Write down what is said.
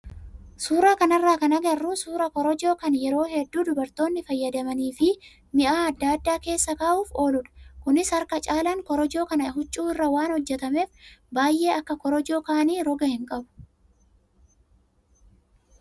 Suuraa kanarraa kan agarru suuraa korojoo kan yeroo hedduu dubartoonni fayyadamanii fi mi'a adda addaa keessa kaa'uuf ooludha. Kunis harka caalaan korojoo kanaa huccuu irraa waan hojjatameef baay'ee akka korojoo kaanii roga hin qabu.